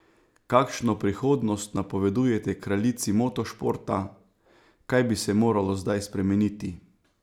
Kakšno prihodnost napovedujete kraljici motošporta, kaj bi se moralo zdaj spremeniti?